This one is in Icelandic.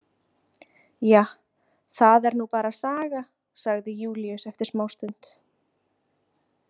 Ja, það er nú bara saga, sagði Júlíus eftir smástund.